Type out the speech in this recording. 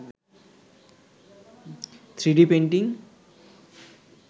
3d painting